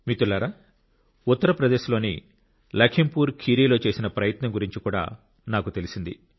మిత్రులారా ఉత్తరప్రదేశ్లోని లఖింపూర్ ఖీరిలో చేసిన ప్రయత్నం గురించి కూడా నాకు తెలిసింది